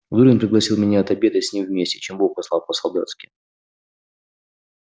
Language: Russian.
зурин пригласил меня отобедать с ним вместе чем бог послал по-солдатски